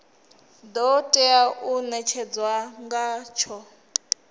do tea u netshedzwa ngatsho